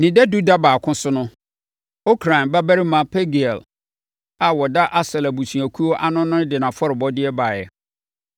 Ne dadu da baako so no, Okran babarima Pagiel a ɔda Aser abusuakuo ano no de nʼafɔrebɔdeɛ baeɛ.